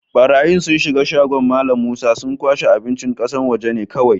Barayyi sun shiga shagon Mallam Musa, sun kwashe abincin ƙasashen waje ne kowai.